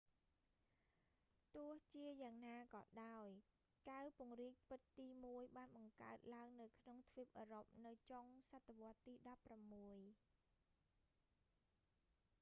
ទោះជាយ៉ាងណាក៏ដោយ កែវពង្រីកពិតទីមួយបានបង្កើតឡើងនៅក្នុងទ្វីបអឺរ៉ុបនៅចុងសតវត្សទី16